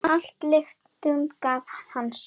Að lyktum gaf hann sig.